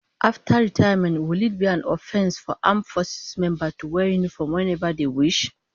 After retirement, will it be an offence for armed forces members to wear uniforms whenever they wish?